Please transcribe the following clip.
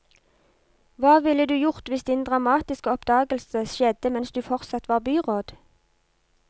Hva ville du gjort hvis din dramatiske oppdagelse skjedde mens du fortsatt var byråd?